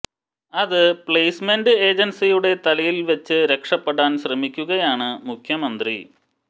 അത് പ്ലേസ്മെന്റ് ഏജൻസിയുടെ തലയിൽ വെച്ച് രക്ഷപ്പെടാൻ ശ്രമിക്കുകയാണ് മുഖ്യമന്ത്രി